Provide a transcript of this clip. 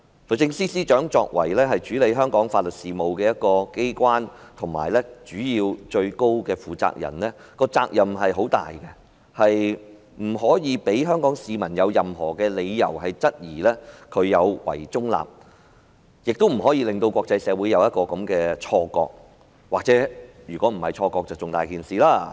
律政司作為處理香港法律事務的機關，而律政司司長作為機關的最高負責人，她的責任重大，不可以讓香港市民有任何理由質疑她有違中立，亦不可以令國際社會有這種錯覺——萬一不是錯覺，這樣更嚴重。